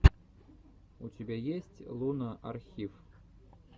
у тебя есть луна архив